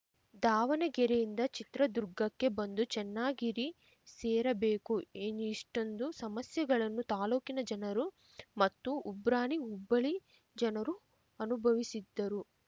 ದಾವಣಗೆರೆಯಿಂದ ಚಿತ್ರದುರ್ಗಕ್ಕೆ ಬಂದು ಚೆನ್ನಾಗಿರಿ ಸೇರಬೇಕು ಇ ಇನ್ನಿ ಇಷ್ಟೊಂದು ಸಮಸ್ಯೆಗಳನ್ನು ತಾಲೂಕಿನ ಜನರು ಮತ್ತು ಉಬ್ರಾಣಿ ಉಬ್ಬಳಿ ಜನರು ಅನುಭವಿಸಿದ್ದರು